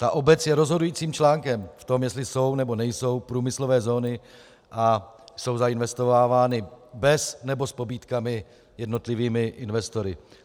Ta obec je rozhodujícím článkem v tom, jestli jsou, nebo nejsou průmyslové zóny a jsou zainvestovávány bez, nebo s pobídkami jednotlivými investory.